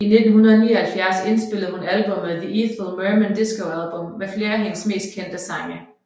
I 1979 indspillede hun albummet The Ethel Merman Disco Album med flere af hendes mest kendte sange